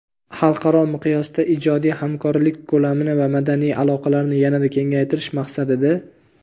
xalqaro miqyosda ijodiy hamkorlik ko‘lamini va madaniy aloqalarni yanada kengaytirish maqsadida:.